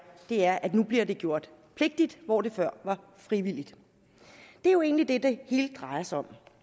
er at det nu bliver gjort pligtigt hvor det før var frivilligt det er jo egentlig det det hele drejer sig om